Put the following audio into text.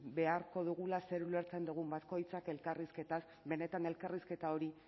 beharko dugula zer ulertzen dugun bakoitzak elkarrizketaz benetan elkarrizketa hori